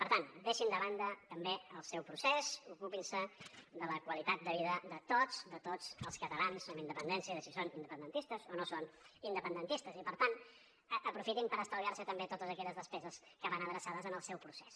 per tant deixin de banda també el seu procés ocupin se de la qualitat de vida de tots de tots els catalans amb independència de si són independentistes o no són independentistes i per tant aprofitin per estalviar se també totes aquelles despeses que van adreçades en el seu procés